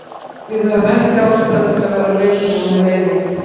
Við höfðum ekki ástæðu til að vera reiðir og með leiðindi.